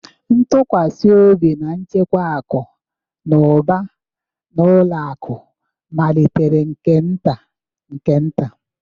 Ntụkwasị obi na ịchekwa akụ na ụba na ụlọ akụ malitere nke nta nke nta